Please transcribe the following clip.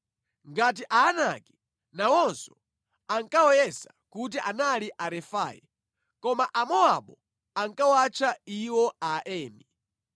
Ngati Aanaki, nawonso ankawayesa kuti anali Arefai, koma Amowabu ankawatcha iwo Aemi.